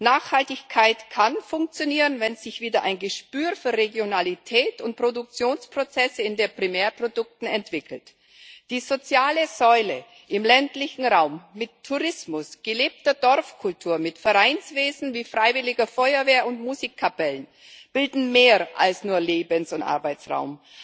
Nachhaltigkeit kann funktionieren, wenn sich wieder ein Gespür für Regionalität und Produktionsprozesse in den Primärprodukten entwickelt. Die soziale Säule im ländlichen Raum mit Tourismus, gelebter Dorfkultur mit Vereinswesen wie freiwilliger Feuerwehr und Musikkapellen bildet mehr als nur Lebens und Arbeitsraum.